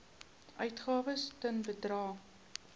uitgawes ten bedrae